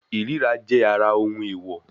Ìríra jẹ́ ara ohun èèwọ̀